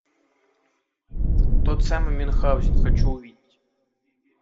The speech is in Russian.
тот самый мюнхгаузен хочу увидеть